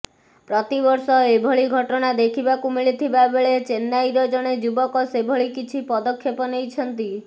ପ୍ରତିବର୍ଷ ଏଭଳି ଘଟଣା ଦେଖିବାକୁ ମିଳିଥିବା ବେଳେ ଚେନ୍ନାଇର ଜଣେ ଯୁବକ ସେଭଳି କିଛି ପଦକ୍ଷେପ ନେଇଛନ୍ତି